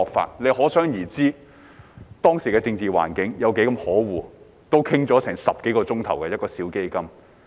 大家可想而知，當時的政治環境有多麼可惡，一個小基金也要討論10多個小時。